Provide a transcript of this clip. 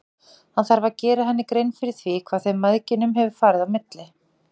Hann þarf að gera henni grein fyrir því hvað þeim mæðginum hefur farið á milli.